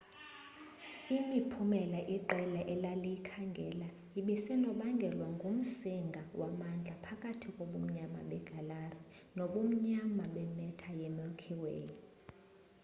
imiphumela iqela elaliyikhangela ibisenobangelwa ngumsinga wamandla apahakathi kobumnyama begalaxy nobumnyama be matter ye milky way